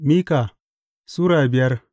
Mika Sura biyar